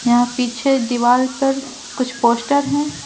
यहां पीछे दीवार पर कुछ पोस्टर हैं।